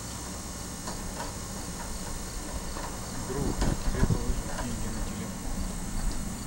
друг тебе положить деньги на телефон